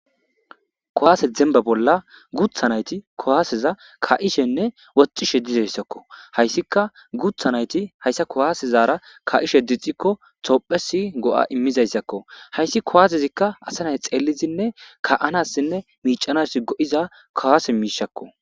kowaase demba bolla gutha nayti kowaaseza ka7ishenne wocishe dizayssakko hayssika gutha nayti hayssa kowaasezaara ka7ishe dixikko toophesi go7a immizayssakko hayssi kowaasezikka asanay xeelizinne ka7anassinne miicanassi go7iza kowase miishakko